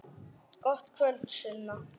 Gott kvöld, Sunna.